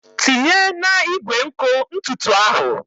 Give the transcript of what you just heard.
Tinye na igwe nkụ ntutu ahụ!